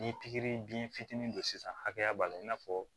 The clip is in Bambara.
Ni pikiri biyɛn fitinin don sisan hakɛya b'a la i n'a fɔ